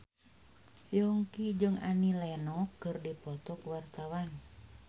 Yongki jeung Annie Lenox keur dipoto ku wartawan